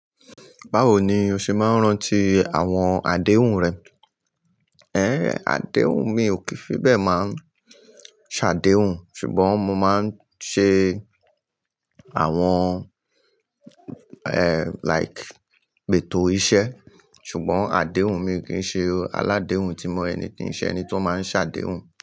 Báwo ni o ṣe máa ń rántí àwọn àdéhùn rẹ? Ẹ̀hẹ̀n, àdéhùn mi ò kí fi bẹ máa ń ṣàdéhùn, ṣùgbọ́n mo máa ń ṣe àwọn, ẹ́ like, pẹ́tó iṣẹ́. Ṣùgbọ́n àdéhùn mi kì í ṣe aládèhùn tí mo ẹni tí ń ṣe ẹni tó máa ń ṣàdéhùn.